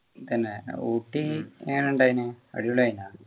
പിന്നെ ഊട്ടി എങ്ങനെ ഉണ്ടായിനു അടിപൊളി ആയിനാ